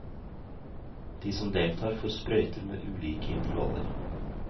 De som deltar, får sprøyter med ulike intervaller.